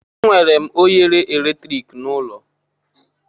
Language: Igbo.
Enwere m oghere eletrik n'ụlọ.